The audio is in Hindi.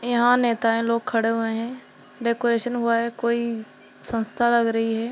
यहां नेताये लोग खड़े हुए हैं डेकोरेशन हुआ है कोई संस्था लग रही हैं।